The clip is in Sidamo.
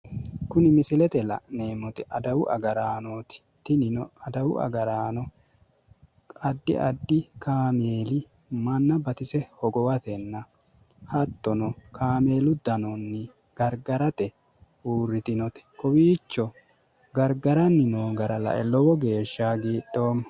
Kuni misilete la'neemmoti adawu agarannoti. tinino adawu agaranno addi addi kaameeli manna batise hogowatenna hattono, kaameelu dano gargarate uurritinote. kowiicho gargaranni noo gara lae lowo geeshsha hagiidhoommo.